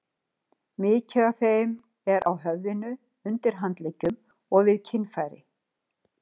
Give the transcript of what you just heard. Mikið af þeim er á höfðinu, undir handleggjum og við kynfæri.